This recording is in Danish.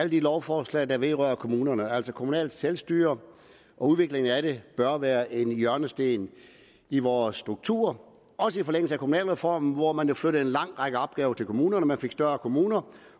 de lovforslag der vedrører kommunerne altså kommunalt selvstyre og udvikling af det bør være en hjørnesten i vores struktur også i forlængelse af kommunalreformen hvor man jo flyttede en lang række opgaver til kommunerne man fik større kommuner